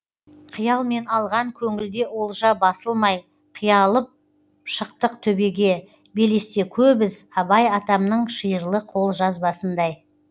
қиялмен алған көңілде олжа басылмай қиялап шықтық төбеге белесте көп із абай атамның шиырлы қолжазбасындай